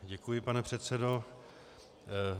Děkuji, pane předsedo.